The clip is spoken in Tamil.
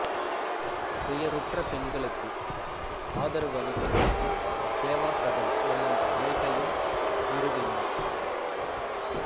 துயருற்ற பெண்களுக்கு ஆதரவு அளிக்க சேவாசதன் என்னும் அமைப்பையும் நிறுவினாா்